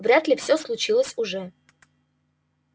вряд ли все случилось уже